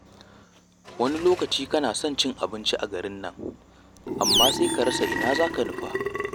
Wani lokacin kana son cin abinci a garin nan, amma sai ka rasa ina za ka nufa.